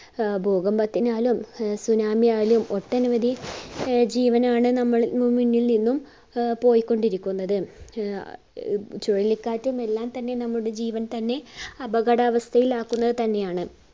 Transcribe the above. ആഹ് ഭൂകമ്പത്തിനാലും അഹ് tsunami യാലും ഒട്ടനവധി ആഹ് ജീവനാണ് നമ്മൾ നിന്നും ആഹ് പോയിക്കൊണ്ടിരിക്കുന്നത് ആഹ് ചുഴലി കാറ്റ് എല്ലാം തന്നെ നമ്മുടെ ജീവൻ തന്നെ അപകടാവസ്ഥയിലാക്കുന്നത് തന്നെയാണ്